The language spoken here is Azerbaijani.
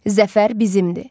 Zəfər bizimdir.